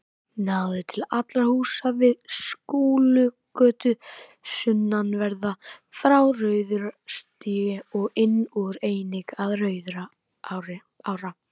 Náði til allra húsa við Skúlagötu sunnanverða, frá Rauðarárstíg og inn úr, einnig til Rauðarár.